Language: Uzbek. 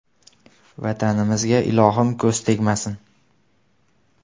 Vatanimizga, ilohim, ko‘z tegmasin!